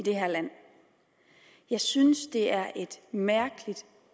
det her land jeg synes det er et mærkeligt